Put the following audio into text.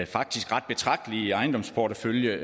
faktisk ret betragtelige ejendomsportefølje